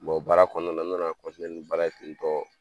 baara kɔnɔna na n nana ni baara ye tentɔ